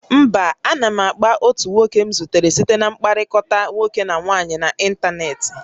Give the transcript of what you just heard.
Mba, a na m akpa otu nwoke m zutere site na mkpakọrịta nwoke na nwaanyị n'ịntanetị